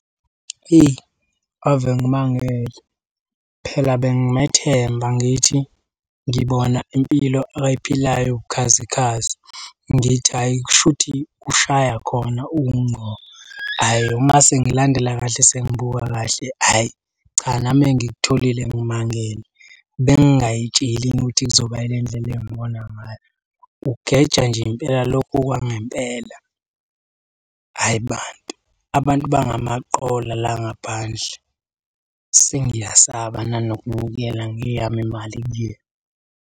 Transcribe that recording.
Eyi ave ngimangele. Phela bengimethemba ngithi ngibona impilo akayiphilayo ewukhazikhazi ngithi hhayi kushuthi ushaya khona uwungqo. Ayi uma sengilandela kahle sengibuka kahle ayi cha nami engikutholile ngimangele. Bengingay'tsheli ukuthi kuzoba ile ndlela engibona ngayo. Ugeja nje impela lokhu kwangempela, hhayi bantu. Abantu bangamaqola la ngaphandle. Sengiyasaba nanokubuyela ngeyami imali kuyena.